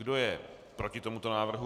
Kdo je proti tomuto návrhu?